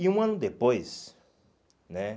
E um ano depois, né?